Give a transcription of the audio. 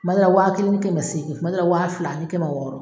Tuma dɔ la waa kelen ni seegin , tuma dɔ la waa fila ani ni kɛmɛ wɔɔrɔ